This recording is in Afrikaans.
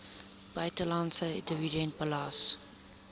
buitelandse dividend belas